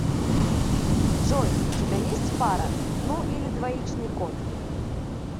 джой у тебя есть пара ну или двоичный код